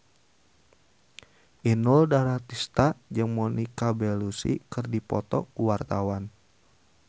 Inul Daratista jeung Monica Belluci keur dipoto ku wartawan